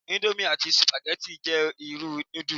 Íńdómì, àti Sùpírímù jẹ́ irú núdù.